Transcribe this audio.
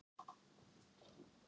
Vill ekki ást.